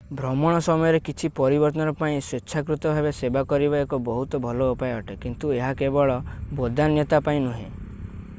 ଭ୍ରମଣ ସମୟରେ କିଛି ପରିବର୍ତ୍ତନ ପାଇଁ ସ୍ଵେଚ୍ଛାକୃତ ଭାବେ ସେବା କରିବା ଏକ ବହୁତ ଭଲ ଉପାୟ ଅଟେ କିନ୍ତୁ ଏହା କେବଳ ବଦାନ୍ୟତା ପାଇଁ ନୁହେଁ